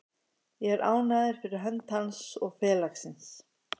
Ég er ánægður fyrir hönd hans og félagsins.